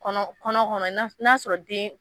Kɔnɔ kɔnɔkɔnɔ n'a y'a sɔrɔ den